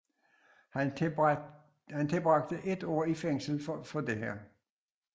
Han tilbragte et år i fængsel for dette